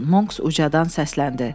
Monks ucadan səsləndi.